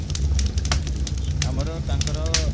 ଆମର ତାଙ୍କର